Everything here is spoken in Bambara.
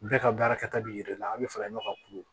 Bɛɛ ka baarakɛta b'i yɛrɛ la an bɛ fara ɲɔgɔn kan kulu